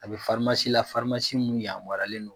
A bɛ la min yamaruyalen don